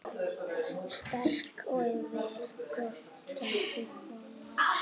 Sterk og vel gerð kona.